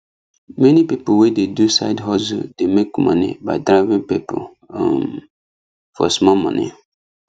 many people wey dey do side hustle dey make money by driving people um for small money